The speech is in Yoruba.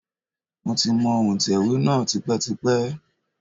Mo ti mọ òǹtẹ̀wé náà tipẹ́tipẹ́.